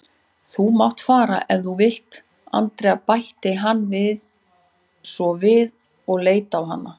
Þú mátt fara ef þú vilt, Andrea bætti hann svo við og leit á hana.